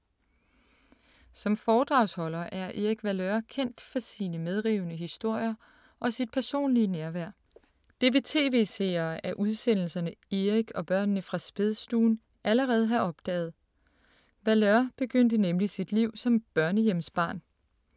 Som foredragsholder er Erik Valeur kendt for sine medrivende historier og sit personlige nærvær. Det vil tv-seere af udsendelserne ”Erik og børnene fra spædstuen”, allerede have opdaget. Valeur begyndte nemlig sit liv som børnehjemsbarn.